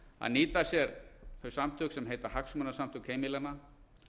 að nýta sér þau samtök sem heita hagsmunasamtök heimilanna